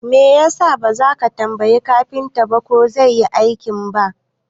Me yasa baza ka tambayi kafintan ko zai Yi aikin ba?